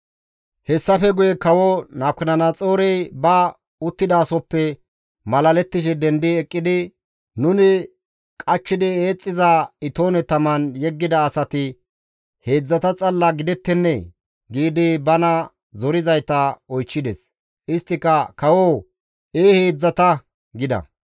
Hessafe guye kawo Nabukadanaxoorey ba uttidasohoppe malalettishe dendi eqqidi, «Nuni qachchidi eexxiza itoone taman yeggida asati heedzdzata xalla gidettennee?» giidi bana zorizayta oychchides; isttika, «Kawoo! Ee heedzdzata!» gida.